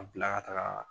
A bila ka taga